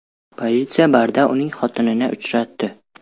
Politsiya barda uning xotinini uchratdi .